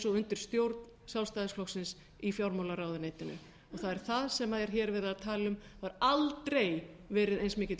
og undir stjórn sjálfstæðisflokksins í fjármálaráðuneytinu það er það sem er hér verið að tala um það hefur aldrei verið eins mikill